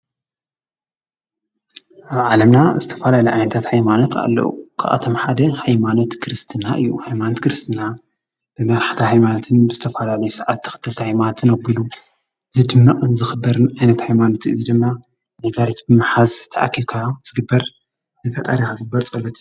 ኣብ ዓለምና ዝተፈላለዩ ዓይነትታት ሃይማኖት ኣለው፡፡ ካብኣቶም ሓደ ሃይማኖት ክርስትና እዩ ፡፡ ሃይማኖት ክርስትና ብመራሕቲ ሃይማኖትን ብዝተፈላለዩ ሰዓብቲ ተኸተልቲ ሃይማኖትን ኣቢሉ ዝድመቕን ንዝኽበርን ዓይነት ሃይማኖት እዩ፡፡ እዚ ድማ ብሓባር ተኣኪብካ ንፈጣሪኻ ዝግበር ፀሎት እዩ፡፡